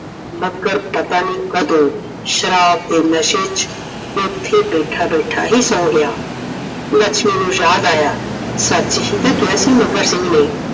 ਮੱਘਰ ਪਤਾ ਨਹੀਂ ਕਦੋ ਸ਼ਰਾਬ ਦੇ ਨਸ਼ੇ ਚ ਉੱਥੇ ਬੈਠਾ ਬੈਠਾ ਹੀ ਸੋ ਗਿਆ I ਲੱਛਮੀ ਨੂੰ ਯਾਦ ਆਇਆ ਸੱਚ ਹੀ ਤਾਂ ਕਿਹਾ ਸੀ ਮੱਘਰ ਸਿੰਘ ਨੇ